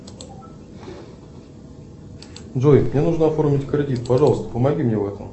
джой мне нужно оформить кредит пожалуйста помоги мне в этом